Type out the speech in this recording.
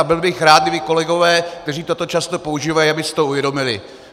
A byl bych rád, kdyby kolegové, kteří toto často používají, aby si to uvědomili.